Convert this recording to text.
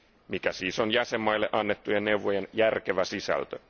Mikä siis on jäsenmaille annettujen neuvojen järkevä sisältö.